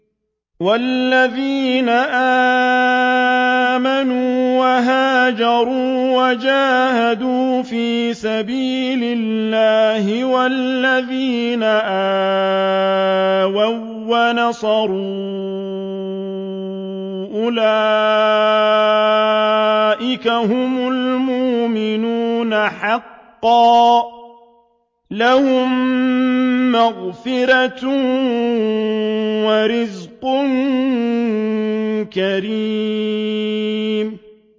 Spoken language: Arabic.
وَالَّذِينَ آمَنُوا وَهَاجَرُوا وَجَاهَدُوا فِي سَبِيلِ اللَّهِ وَالَّذِينَ آوَوا وَّنَصَرُوا أُولَٰئِكَ هُمُ الْمُؤْمِنُونَ حَقًّا ۚ لَّهُم مَّغْفِرَةٌ وَرِزْقٌ كَرِيمٌ